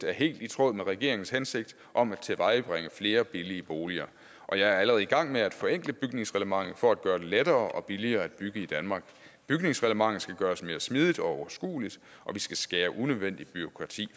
er helt i tråd med regeringens hensigt om at tilvejebringe flere billige boliger og jeg er allerede i gang med at forenkle bygningsreglementet for at gøre det lettere og billigere at bygge i danmark bygningsreglementet skal gøres mere smidigt og overskueligt og vi skal skære unødvendigt bureaukrati